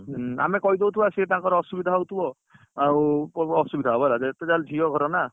ଆମେ କହିଦଉଥିବା ସିଏ ତାଙ୍କର ଅସୁବିଧା ହଉଥିବ ଆଉ ଅସୁବିଧା ହବ ହେଲା ଯେତେ ଜାହଲେ ଝିଅ ଘର ନା